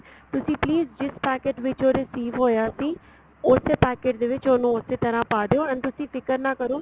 ਤੁਸੀਂ please ਜਿਸ packet ਵਿੱਚ ਉਹ receive ਹੋਇਆ ਸੀ ਉਸੇ packet ਦੇ ਵਿੱਚ ਉਹਨੂੰ ਉਸੀ ਤਰ੍ਹਾਂ ਪਾ ਦਿਉ and ਤੁਸੀਂ ਫਿਕਰ ਨਾ ਕਰੋ